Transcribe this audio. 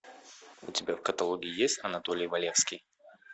у тебя в каталоге есть анатолий валевский